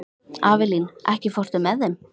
Avelín, ekki fórstu með þeim?